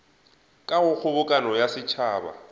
ka go kgobokano ya setšhaba